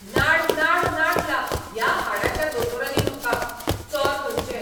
नाड नाड नाडला ह्या हाडाच्या दोतोरांनी म्हाका. चोर खंयचे!